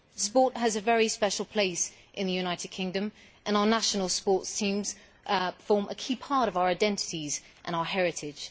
Sport has a very special place in the United Kingdom, and our national sports teams form a key part of our identities and our heritage.